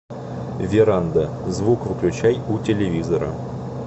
веранда звук выключай у телевизора